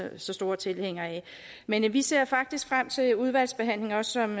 så store tilhængere af men vi ser faktisk frem til udvalgsbehandlingen som